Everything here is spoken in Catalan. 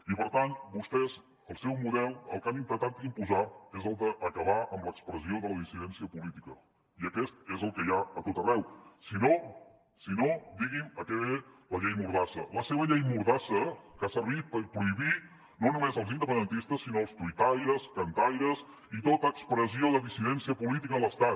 i per tant vostès el seu model el que han intentat imposar és el d’acabar amb l’expressió de la dissidència política i aquest és el que hi ha a tot arreu si no si no digui’m a què ve la llei mordassa la seva llei mordassa que ha servit per prohibir no només als independentistes sinó als tuitaires cantaires tota expressió de dissidència política de l’estat